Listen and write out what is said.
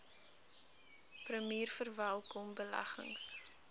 premier verwelkom beleggings